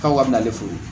K'aw ka bɛnnɛforo ye